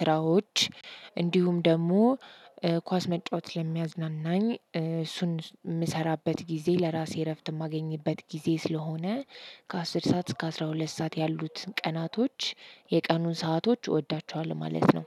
ስራዎች እንዲሁም ደግሞ ኳስ መጫወት ለሚያዝናናኝ እሱን የምሰራበት ጊዜ ለራሴ እረፍት የማገኝበት ጊዜ ስለሆነ ከአስር ሰዓት እስከ አስራ ሁለት ሰዓት ያሉትን ቀናቶች የቀኑን ሰአቶች እወዳቸዋለሁ ማለት ነው።